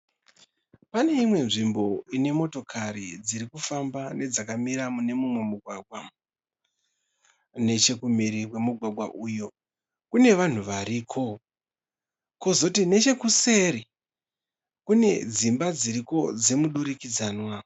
Pane imwe nzvimbo ine motokari dzirikufamba nedzakamira mune mumwe mugwagwa. Nechekumhiri kwemugwagwa uyu kune vanhu variko. Kwozoti nechekuseri kune dzimba dziriko dzemudurikidzanwa.